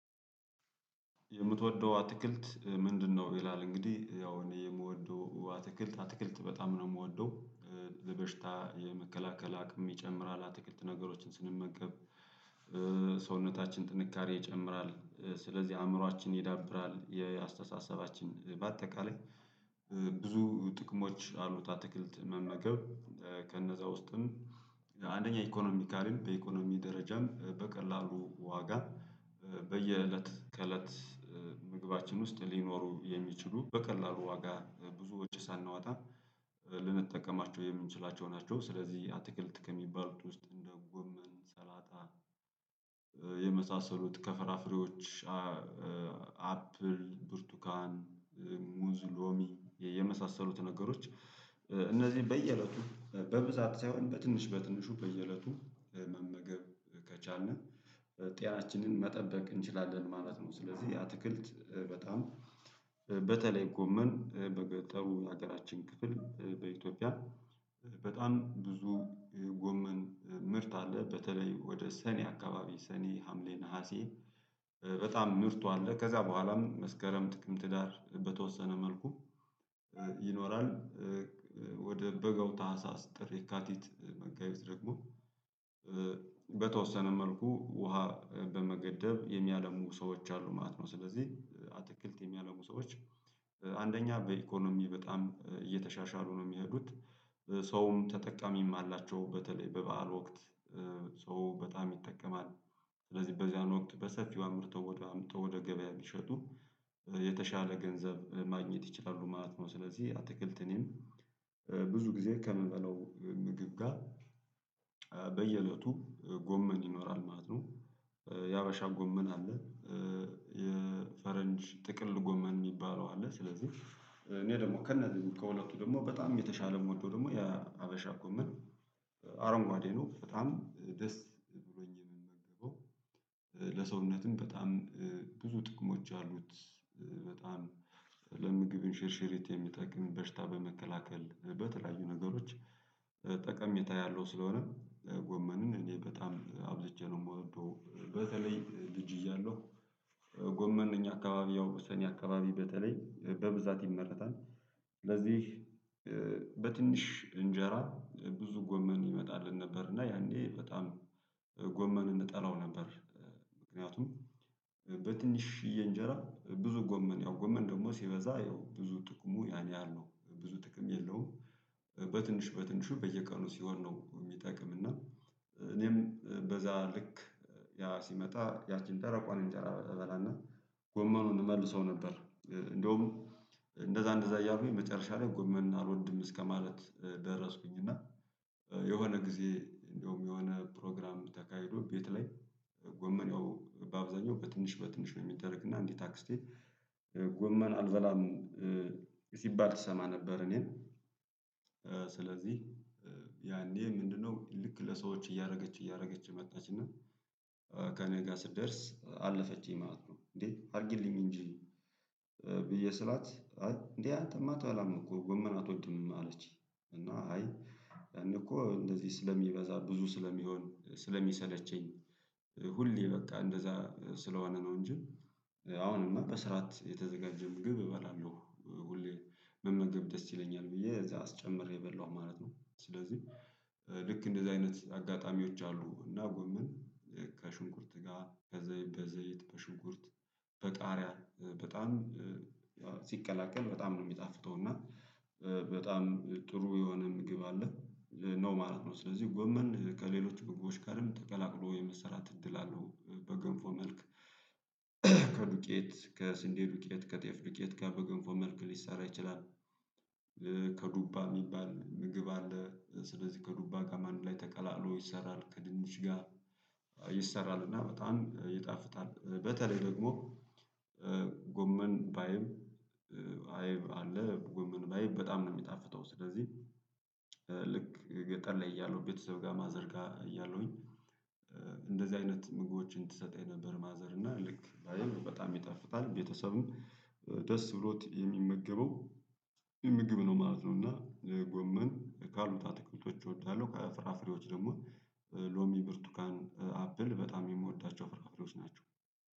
የምትወደው አትክልት ምንድነው? ይላል እንግዲህ ያው እኔ የምወደው አትክልት አትክልት በጣም ነው የምወደው ለበሽታ የመከላከል አቅም ይጨምራል አትክልት ነገሮችን ስንመገብ። ሰውነታችን ጥንካሬ ይጨምራል ስለዚህ አእምሮአችን ይዳብራል የአስተሳሰባችን በአጠቃላይ ብዙ ጥቅሞች አሉት አትክልት መመገብ። ከነዛ ውስጥም አንደኛ ኢኮኖሚካልም በኢኮኖሚ ደረጃም በቀላሉ ዋጋ በየእለት ከእለት ምግባችን ውስጥ ሊኖሩ የሚችሉ በቀላሉ ዋጋ ብዙ ውጭ ሳናወጣ። ልንጠቀማቸው የምንችላቸው ናቸው። ስለዚህ አትክልት ከሚባሉት ውስጥ እንደ ጎመን ሰላጣ። የመሳሰሉት ከፈራፍሬዎች አፕል ብርቱካን ሙዝ ሎሚ የመሳሰሉት ነገሮች። እነዚህ በየእለቱ በብዛት ሳይሆን በትንሽ በትንሹ በየእለቱ መመገብ ከቻልን ጤናችንን መጠበቅ እንችላለን ማለት ነው። ስለዚህ የአትክልት በጣም በተለይ ጎመን በገጠሩ የሀገራችን ክፍል በኢትዮጵያ በጣም ብዙ ጎመን ምርት አለ። በተለይ ወደ ሰኔ አካባቢ ሰኔ ሀምሌ ነሀሴ በጣም ምርቱ አለ ከዛ በኋላም መስከረም ጥቅምት ህዳር በተወሰነ መልኩ ይኖራል። ወደ በጋው ታህሳስ ጥሪ ካቲት መጋቢዝ ደግሞ በተወሰነ መልኩ ውሃ በመገደብ የሚያለሙ ሰዎች አሉ ማለት ነው። ስለዚህ አትክልት የሚያደርጉ ሰዎች አንደኛ በኢኮኖሚ በጣም እየተሻሻሉ ነው። ሰውም ተጠቃሚም አላቸው በተለይ በበዓል ወቅት ሰው በጣም ይጠቀማል። ስለዚህ በዚያን ወቅት በሰፊው አምርተው ወደ አምርተው ወደ ገበያ ቢሸጡ የተሻለ ገንዘብ ማግኘት ይችላሉ ማለት ነው። ስለዚህ አትክልት እኔም ብዙ ጊዜ ከምበላው ምግብ ጋር በየእለቱ ጎመን ይኖራል ማለት ነው። የአበሻ ጎመን አለ። የፈረንጅ ጥቅል ጎመን የሚባለው አለ ስለዚህ እኔ ደግሞ ከነዚህ ከሁለቱ ደግሞ በጣም የተሻለ ሞዶ ደግሞ የሀበሻ ኮመን አረንጓዴ ነው። አሁን ደስ ብሎኝ የምንመገበው ለሰውነትም በጣም ብዙ ጥቅሞች አሉት። በጣም ለምግብን ሽርሽሪት የሚጠቅም በሽታ በመከላከል በተለያዩ ነገሮች ጠቀሜታ ያለው ስለሆነ ጎመንን እኔ በጣም አብዝቼ ነው የምወደው። በተለይ ልጅ እያለሁ ጎመን እኛ አካባቢ ያው ወሰኔ አካባቢ በተለይ በብዛት ይመረታል። ለዚህ በትንሽ እንጀራ ብዙ ጎመን ይመጣልን ነበር። እና ያኔ በጣም ጎመን እንጠላው ነበር። ምክንያቱም በትንሽዬ እንጀራ ብዙ ጎመን ያው ጎመን ደግሞ ሲበዛ ያው ብዙ ጥቅሙ ያኔ ያለው ብዙ ጥቅም የለውም። በትንሽ በትንሹ በየቀኑ ሲሆን ነው የሚጠቅም። እና እኔም በዛ ልክ ያ ሲመጣ ያቺን ደረቋን እንጨራ እበላና ጎመኑን እመልሰው ነበር። እንደውም እንደዛ እንደዛ እያልኩኝ መጨረሻ ላይ ጎመን አልወድም እስከማለት ደረስኩኝ። እና የሆነ ጊዜ እንደውም የሆነ ፕሮግራም ተካሂዶ ቤት ላይ ጎመኔው በአብዛኛው በትንሽ በትንሽ ነው የሚያደርግ እና እንዲህ ታክስ ስቴት ጎመን አልበላም። ሲባል ትሰማ ነበር እኔን። ስለዚህ ያኔ ምንድነው ልክ ለሰዎች እያደረገች እያደረገች መጣች እና ከእኔ ጋር ስደርስ አለፈችኝ ማለት ነው። እንዴ አድርጊልኝ እንጂ። ብዬ ስላት እንዴ አንተ ማታ አትበላም እኮ ጎመን አትወድም አለችኝ? እና አይያኔ እኮ እንደዚህ ስለሚበዛ ብዙ ስለሚሆን ስለሚሰለቸኝ ሁሌ በቃ እንደዛ ስለሆነ ነው እንጂ። አሁንማ በስርዓት የተዘጋጀ ምግብ እበላለሁ ሁሌ። መመገብ ደስ ይለኛል ብዬ እዛ አስጨምሬ በላሁ ማለት ነው። ስለዚህ ልክ እንደዚህ አይነት አጋጣሚዎች አሉ። እና ጎምን ከሽንኩርት ጋር ከዘይት በዘይት በሽንኩርት በጣሪያ በጣም ሲቀላቀል በጣም ነው የሚጣፍጠው። እና በጣም ጥሩ የሆነ ምግብ አለ ነው ማለት ነው። ስለዚህ ጎመን ከሌሎች ጎመን ጋርም ተቀላቅሎ የመሰራት እድል አለው። በገንፎ መልክ ከዱቄት ከስንዴ ዱቄት ከጤፍ ዱቄት ጋር በገንፎ መልክ ሊሰራ ይችላል። ከዱባ የሚባል ምግብ አለ ስለዚህ ከዱባ ጋር አንድ ላይ ተቀላቅሎ ይሰራል። ከድንች ጋር ይሰራል እና በጣም ይጣፍጣል። በተለይ ደግሞ ጎመን ባይብ አይብ አለ ጎመን ባይብ በጣም ነው የሚጣፍተው። ስለዚህ ልክ ገጠር ላይ እያለሁ ቤተሰብ ጋር ማዘር ጋር እያለሁኝ እንደዚህ አይነት ምግቦችን ትሰጠኝ ነበር። ማዘር እና ልክ አይብ በጣም ይጠፍታል ቤተሰብም ደስ ብሎት የሚመገበው ምግብ ነው ማለት ነው። እና ጎመን ካሉት አትክልቶች እወዳለሁ። ከፍራፍሬዎች ደግሞ ሎሚ ብርቱካን አፕል በጣም የምወዳቸው ፍራፍሬዎች ናቸው